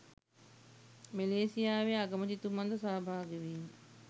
මැලේසියාවේ අගමැතිතුමන් ද සහභාගී වීම